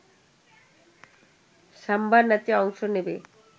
সাম্বা নাচে অংশ নেবে